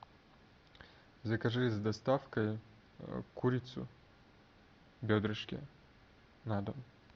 закажи с доставкой курицу бедрышки на дом